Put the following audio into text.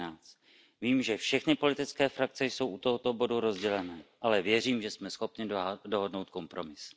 13. Vím, že všechny politické frakce jsou u tohoto bodu rozdělené, ale věřím, že jsme schopni dohodnout kompromis.